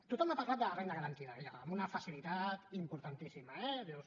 tothom ha parlat de la renda garantida amb una facilitat importantíssima eh dius